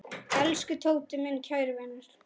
Elsku Tóti, minn kæri vinur.